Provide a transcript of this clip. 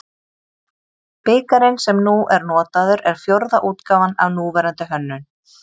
Bikarinn sem nú er notaður er fjórða útgáfan af núverandi hönnun.